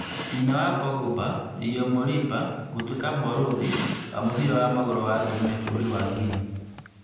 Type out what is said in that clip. Nyina wa Pogba Yeo Moriba gũtuĩka barũthi wa mũbĩra wa magũrũ wa atumia bũrũri wa Guinea